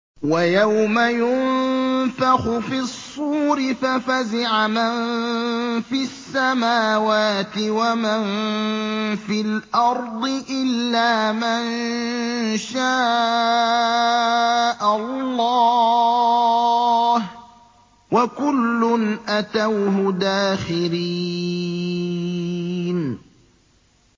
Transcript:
وَيَوْمَ يُنفَخُ فِي الصُّورِ فَفَزِعَ مَن فِي السَّمَاوَاتِ وَمَن فِي الْأَرْضِ إِلَّا مَن شَاءَ اللَّهُ ۚ وَكُلٌّ أَتَوْهُ دَاخِرِينَ